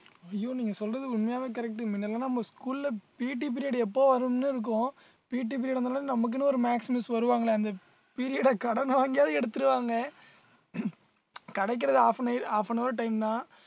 ஐயோ நீங்க சொல்றது உண்மையாவே correct மின்னல்லாம் நம்ம school ல PT எப்ப வரும்ன்னு இருக்கும் PT period வந்தவுடனே நமக்குன்னு ஒரு maths miss வருவாங்களே அந்த period அ கடன் வாங்கியாவது எடுத்திருவாங்க கிடைக்கிறது half an nail~ half an hour time தான்